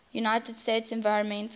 united states environmental